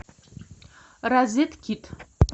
розеткед